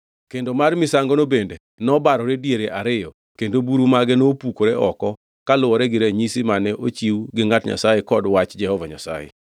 Kendo mar misangono bende nobarore diere ariyo kendo buru mage nopukore oko kaluwore gi ranyisi mane ochiw gi ngʼat Nyasaye kod Wach Jehova Nyasaye.